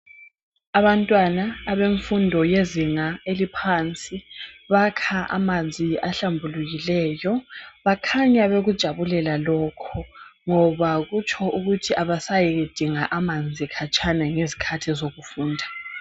Abantwana abemfundo yezinga eliphansi bakha amanzi ahlambulukileyo . Bakhanya bekujabulela lokhu ngoba kutsho ukuthi abasayidinga amanzi khatshana ngezikhathi zokufunda.